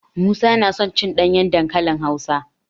Musa yana son cin ɗanyen dankali Hausa.